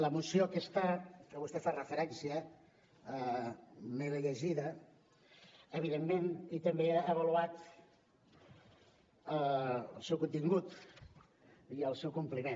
la moció aquesta a què vostè fa referència me l’he llegida evidentment i també he avaluat el seu contingut i el seu compliment